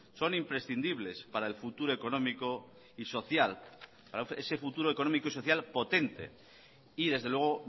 son imprescindibles para el futuro económico y social ese futuro económico y social potente y desde luego